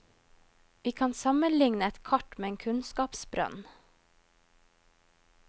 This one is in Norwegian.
Vi kan sammenligne et kart med en kunnskapsbrønn.